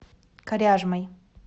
коряжмой